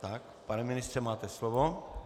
Tak, pane ministře, máte slovo.